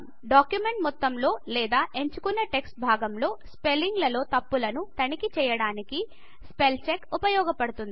document మొత్తంలో లేదా ఎంచుకున్న టెక్స్ట్ భాగం లో స్పెల్లింగ్ లో తప్పులను తనిఖీ చేయడానికి స్పెల్ చెక్ స్పెల్చెక్ ఉపయోగపడుతుంది